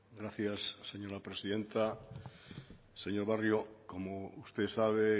gracias señora presidenta señor barrio como usted sabe